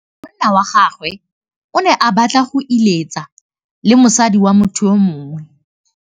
Monna wa gagwe o ne a batla go êlêtsa le mosadi wa motho yo mongwe.